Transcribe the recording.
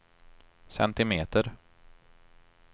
centimeter